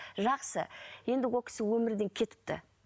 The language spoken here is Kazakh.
жақсы енді ол кісі өмірден кетіпті